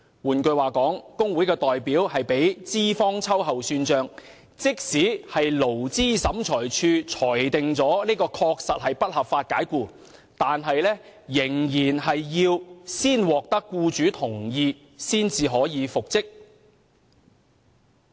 換言之，若工會代表被資方秋後算帳，即使勞資審裁處裁定為不合法解僱，員工仍要先獲得僱主同意才可復職。